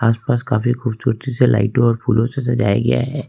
आस पास काफी खूबसूरती से लाइटों और फूलों से सजाया गया है।